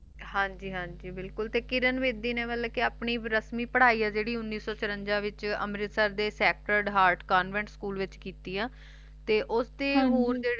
ਹਨ ਜੀ ਹਨ ਜੀ ਤੇ ਕਿਰਨ ਬੇਦੀ ਨੇ ਆਪਣੀ ਪ੍ਰਹਾਯੀ ਵੱਲੋ ਜੈਰੀ ਉਨੀਸ ਸੋ ਤਿਰੰਜ ਵਿਚ ਸੇਕ੍ਟਰ ਹਾਰਡ ਕਾਨ੍ਵੇੰਟ ਸਕੂਲ ਦੇ ਵਿਚਹਨ ਜੀ ਕਿੱਤੀ ਹੈ